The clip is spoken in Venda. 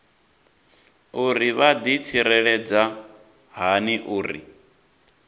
uri vha ḓitsireledza hani uri